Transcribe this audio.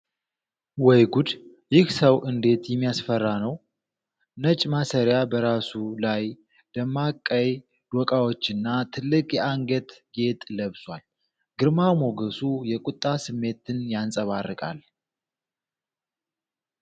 ወይ ጉድ! ይህ ሰው እንዴት የሚያስፈራ ነው! ነጭ ማሰሪያ በራሱ ላይ፣ ደማቅ ቀይ ዶቃዎችና ትልቅ የአንገት ጌጥ ለብሷል! ግርማ ሞገሱ የቁጣ ስሜትን ያንፀባርቃል!